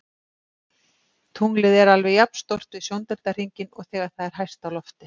Tunglið er alveg jafn stórt við sjóndeildarhringinn og þegar það er hæst á lofti.